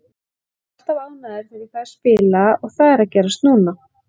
Ég er alltaf ánægður þegar ég fæ að spila og það er að gerast núna.